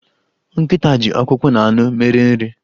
Nkịta ji ọkpụkpọ na anụ mere nri.